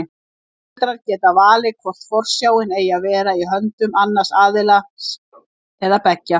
Foreldrar geta valið hvort forsjáin eigi að vera í höndum annars aðilans eða beggja.